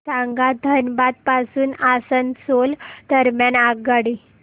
सांगा धनबाद पासून आसनसोल दरम्यान आगगाडी